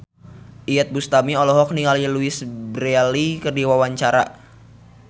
Iyeth Bustami olohok ningali Louise Brealey keur diwawancara